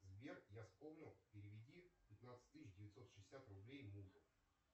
сбер я вспомнил переведи пятнадцать тысяч девятьсот шестьдесят рублей мужу